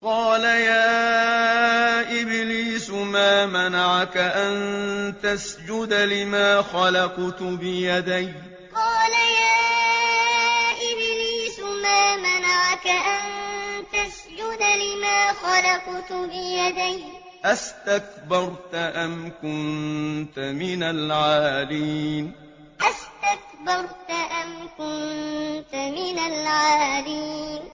قَالَ يَا إِبْلِيسُ مَا مَنَعَكَ أَن تَسْجُدَ لِمَا خَلَقْتُ بِيَدَيَّ ۖ أَسْتَكْبَرْتَ أَمْ كُنتَ مِنَ الْعَالِينَ قَالَ يَا إِبْلِيسُ مَا مَنَعَكَ أَن تَسْجُدَ لِمَا خَلَقْتُ بِيَدَيَّ ۖ أَسْتَكْبَرْتَ أَمْ كُنتَ مِنَ الْعَالِينَ